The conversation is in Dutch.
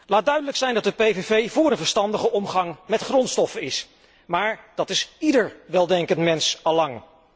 Laat duidelijk zijn dat de PPV voor een verstandige omgang met grondstoffen is, maar dat is ieder weldenkend mens al lang.